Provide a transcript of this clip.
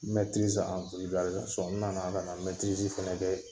nana ka na fana kɛ!